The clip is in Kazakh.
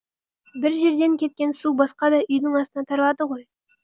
бір жерден кеткен су басқа да үйдің астына таралады ғой